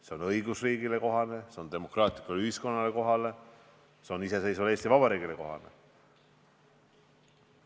See on õigusriigile kohane, see on demokraatlikule ühiskonnale kohane, see on iseseisvale Eesti Vabariigile kohane.